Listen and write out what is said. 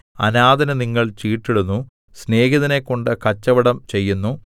അനാഥന് നിങ്ങൾ ചീട്ടിടുന്നു സ്നേഹിതനെക്കൊണ്ട് കച്ചവടം ചെയ്യുന്നു